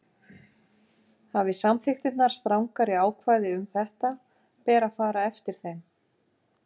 Hafi samþykktirnar strangari ákvæði um þetta ber að fara eftir þeim.